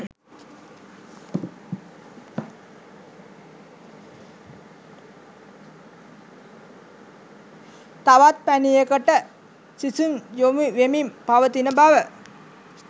තවත් පැණියකට සිසුන් යොමු වෙමින් පවතින බව